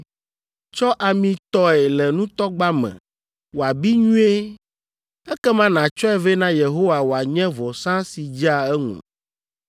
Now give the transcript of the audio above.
Tsɔ ami tɔe le nutɔgba me wòabi nyuie ekema nàtsɔe vɛ na Yehowa wòanye vɔsa si dzea eŋu.